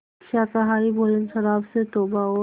शाकाहारी भोजन शराब से तौबा और